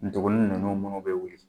Ndugunin ninnu bɛ wuli.